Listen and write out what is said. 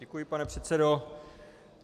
Děkuji, pane předsedo.